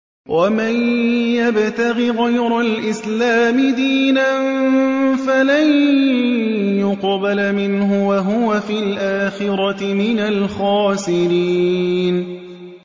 وَمَن يَبْتَغِ غَيْرَ الْإِسْلَامِ دِينًا فَلَن يُقْبَلَ مِنْهُ وَهُوَ فِي الْآخِرَةِ مِنَ الْخَاسِرِينَ